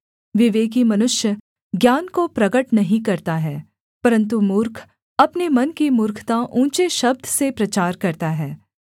विवेकी मनुष्य ज्ञान को प्रगट नहीं करता है परन्तु मूर्ख अपने मन की मूर्खता ऊँचे शब्द से प्रचार करता है